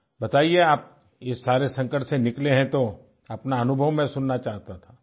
बताइये आप ये सारे संकट से निकले हैं तो अपना अनुभव मैं सुनना चाहता था